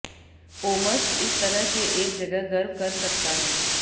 Omsk इस तरह के एक जगह गर्व कर सकता है